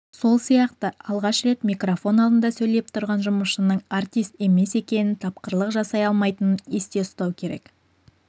сол сияқты алғаш рет микрофон алдында сөйлеп тұрған жұмысшының артист емес екенін тапқырлық жасай алмайтынын есте ұстау керек